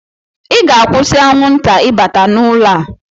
Ị ga-akwụsị anwụnta ịbata n'ụlọ a!